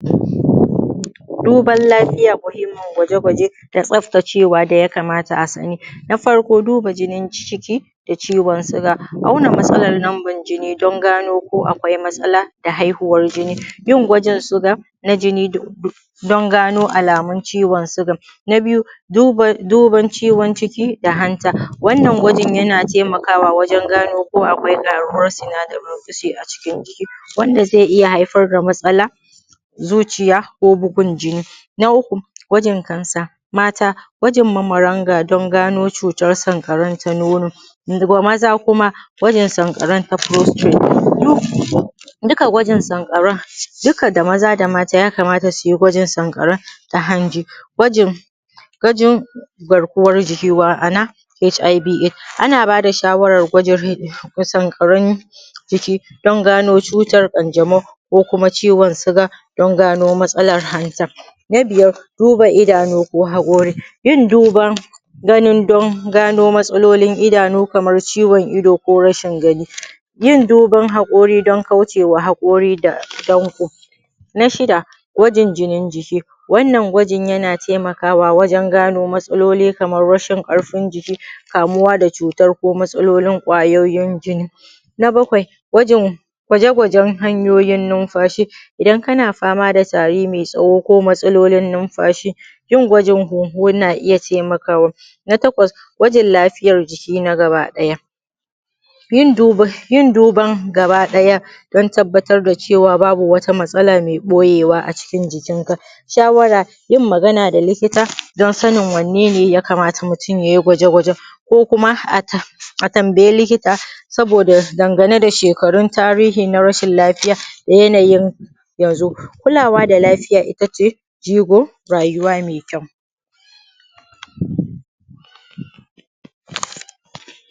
Duban lafiya muhimmin gwaje gwaje, da tsaftacewa da ya kamata a sani. Na farko duba jinin jiki, da ciwon siga auna matsalan number jini don gano ko akwai matsala da haihuwar jini. Yin gwajin siga na jini don gano alamun ciwon sigan. Na biyu duba ciwon ciki da hanta. Wannan gwajin yana taimakawa wajan gano ko akwai ƙaruwan sinadarin fisi a cikin jiki wanda zai iya haifar da matsala zuciya ko bugun jini. Na uku gwajin kansa. Mata gwajin mararanga don gano cutar sankarau ta nono wanda maza kuma gwajin sankaran ta prostrate. Duka gwajin sankaran duka da maza da mata yakamata suyi gwajin sankaran ta hanji. Gwajin garkuwan jiki ma’ana hiv aids. Ana ba da shawarar gwajin sankaran jiki don gano cutar kanjamau, ko kuma ciwon siga don gano matsalan hanta. Na biyar duba idanu ko haƙori, yin duban ganin don gano matsalolin idanu, kaman ciwon ido ko rashin gani, yin duban haƙori don kauce wa haƙori da danko. Na shida gwajin jinin jiki. Wannan gwajin yana taimakawa wajan gano matsaloli kaman rashin karfin jiki, kamuwa da cutar ko matsalolin ƙwayoyin jini. Na bakwai gwaje gwajen hanyoyin numfashi, idan kana fama da tari mai tsawo ko matsalolin numfashi, yin gwajin hunhun na iya taimakawa. Na takwas gwajin lafiyar jiki na gaba ɗaya. Yin duban gaba ɗaya don tabbatar da cewa babu wata matsala mai ɓoyewa a cikin jikin ka. Shawara yin magana da likita don sanin wane ne ya kamata mutum yayi gwajegwajen, ko kuma a tambayi likita saboda dangane da shekarun tarihi na rashin lafiya, na yanayin ya zo. Kulawa da lafiya itace jigo rayuwa mai kyau.